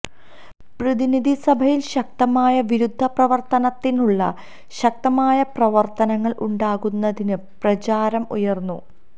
പ്രതിനിധി സഭയിൽ ശക്തമായ വിരുദ്ധ പ്രവർത്തനത്തിനുള്ള ശക്തമായ പ്രവർത്തനങ്ങൾ ഉണ്ടാക്കുന്നതിന് പ്രചാരം ഉയർന്നു